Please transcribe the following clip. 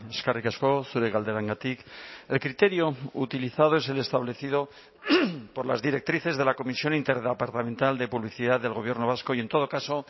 eskerrik asko zure galderengatik el criterio utilizado es el establecido por las directrices de la comisión interdepartamental de publicidad del gobierno vasco y en todo caso